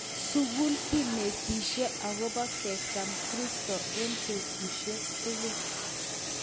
Sukul kinetishe akobo kecham Kristo eng betusiek tukul